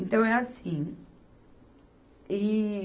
Então é assim. E